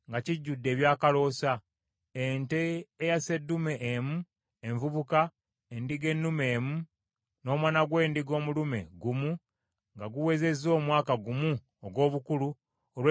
ente eya sseddume emu envubuka, endiga ennume emu, n’omwana gw’endiga omulume gumu nga guwezezza omwaka gumu ogw’obukulu, olw’ekiweebwayo ekyokebwa;